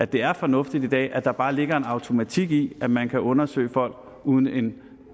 det er fornuftigt i dag at der bare ligger en automatik i at man kan undersøge folk uden en